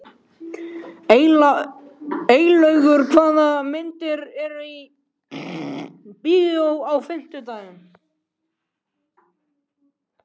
Eylaugur, hvaða myndir eru í bíó á fimmtudaginn?